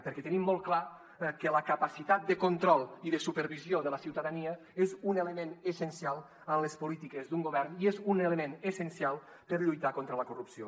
perquè tenim molt clar que la capacitat de control i de supervisió de la ciutadania és un element essencial en les polítiques d’un govern i és un element essencial per lluitar contra la corrupció